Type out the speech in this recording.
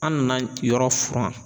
An nana yɔrɔ furan